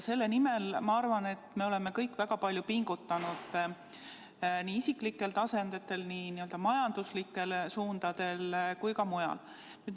Selle nimel, ma arvan, me oleme kõik väga palju pingutanud nii isiklikel tasanditel, nii majanduslikes suundades kui ka mujal.